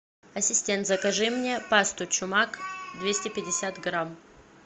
ассистент закажи мне пасту чумак двести пятьдесят грамм